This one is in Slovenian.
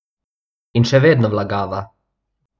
In še vedno vlagava.